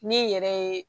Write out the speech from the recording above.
Ne yɛrɛ ye